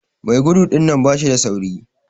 Mai gudu dinnan bashi da sauri.